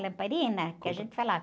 Lamparina, que a gente falava.